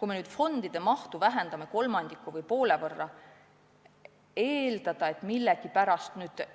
Kui me nüüd fondide mahtu vähendame kolmandiku või poole võrra, siis ei saa eeldada, et